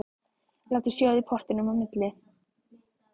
Látið sjóða í pottinum á milli.